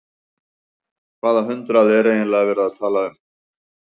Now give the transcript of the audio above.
Hvaða hundrað er eiginlega verið að tala um?